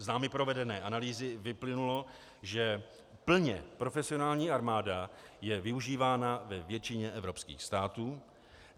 Z námi provedené analýzy vyplynulo, že plně profesionální armáda je využívána ve většině evropských států.